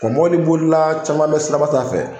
Wa mɔbili bolila caman bɛ silaba sanfɛ.